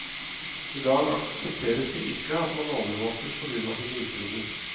I dag aksepteres det ikke at man overvåkes på grunn av sine ytringer.